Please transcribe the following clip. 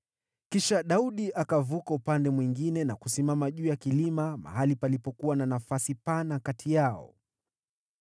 Kisha Daudi akavuka upande mwingine na kusimama juu ya kilima mahali palipokuwa na nafasi pana kati yao.